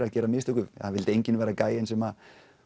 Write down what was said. að gera mistök það vildi enginn vera gæjinn sem